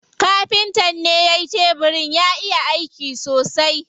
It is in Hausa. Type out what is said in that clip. Kafintan ne yayi tebirin, ya iya aiki sosai.